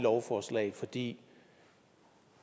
lovforslag fordi